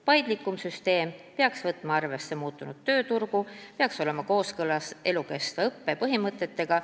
Paindlikum süsteem peaks võtma arvesse muutunud tööturgu ja olema kooskõlas ka elukestva õppe põhimõtetega.